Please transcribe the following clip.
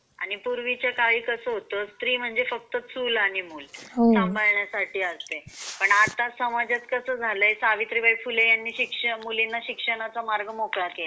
आणि पूर्वीचा काळी कसा होता स्त्री म्हणजे फक्त चूल आणि मूल संभाळण्या साठी असे. पण आता समाजात कसा झालाय सावित्रीबाई फुले यांनी शिक्षा मुलींना शिक्षणाचा मार्ग मोकळा केला आहे.